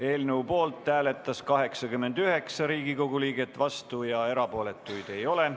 Eelnõu poolt hääletas 89 Riigikogu liiget, vastuolijaid ega erapooletuid ei ole.